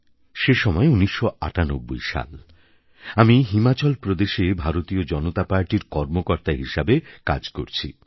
সে সময় ১৯৯৮ সাল আমি হিমাচল প্রদেশে ভারতীয় জনতা পার্টির কর্মকর্তা হিসেবে কাজ করছি